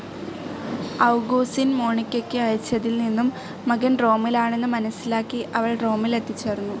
Augustine മോണിക്കയ്ക്ക് അയച്ചതിൽ നിന്നും മകൻ റോമിലാണെന്ന് മനസ്സിലാക്കി അവൾ റോമിൽ എത്തിച്ചേർന്നു.